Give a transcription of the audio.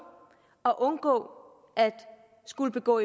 at undgå at skulle begå